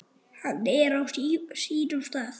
Hann er á sínum stað.